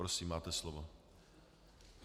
Prosím, máte slovo.